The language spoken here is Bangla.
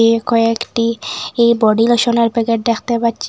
এ কয়েকটি ই বডি লোশনের প্যাকেট দেখতে পাচ্ছি।